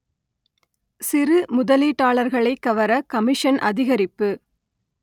சிறு முதலீட்டாளர்களை கவர கமிஷன் அதிகரிப்பு